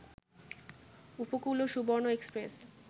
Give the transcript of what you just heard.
উপকূল ও সুবর্ণ এক্সপ্রেস